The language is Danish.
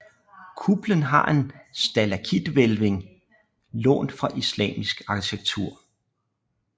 Kuppelen har en stalaktithvælving lånt fra islamisk arkitektur